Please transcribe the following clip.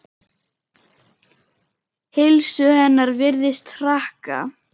Heilsu hennar virðist hraka.